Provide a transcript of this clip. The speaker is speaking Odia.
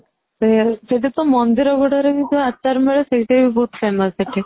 ସେଇଠି ତ ମନ୍ଦିର ଗୁଡାରେ ଯୋଉ ଆଚାର ମିଳେ ସେଇଟା ବି ବହୁତ famous ସେଠି